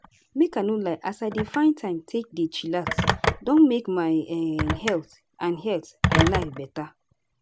make i no lie as i dey find time take dey chillax don make my um health and health and life beta.